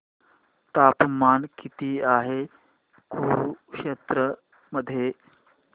तापमान किती आहे कुरुक्षेत्र मध्ये